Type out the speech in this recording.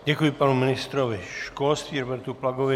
Děkuji panu ministrovi školství Robertu Plagovi.